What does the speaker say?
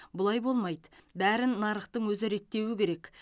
бұлай болмайды бәрін нарықтың өзі реттеуі керек